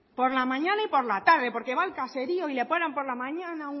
por la mañana y por la tarde porque va al caserío y le paran por la mañana